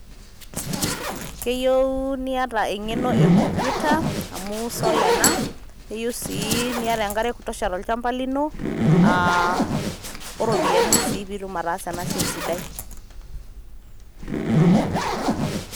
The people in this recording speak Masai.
Keyieu niyau niata eng'eno e computer amu solar ena niyieu sii niata enk'are ekoitosha tolchampa lino iropiyiani taa pee etum ataasa ena siai sidai.